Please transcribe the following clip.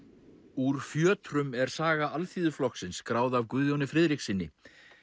úr fjötrum er saga Alþýðuflokksins skráð af Guðjóni Friðrikssyni